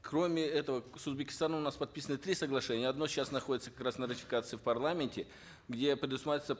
кроме этого с узбекистаном у нас подписаны три соглашения одно сейчас находится как раз на ратификации в парламенте где предусматривается